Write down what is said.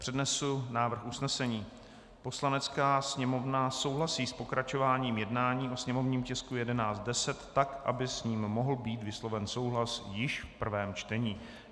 Přednesu návrh usnesení: "Poslanecká sněmovna souhlasí s pokračováním jednání o sněmovním tisku 1110 tak, aby s ním mohl být vysloven souhlas již v prvém čtení."